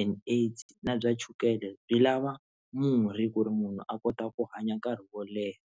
and AIDS na bya chukele byi lava murhi ku ri munhu a kota ku hanya nkarhi wo leha.